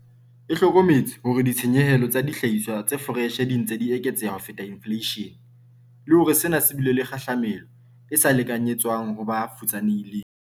E hlokometse hore ditshenyehelo tsa dihlahiswa tse foreshe di ntse di eketseha ho feta infleishene, le hore sena se bile le kgahlamelo e sa lekanyetswang ho ba futsanehileng.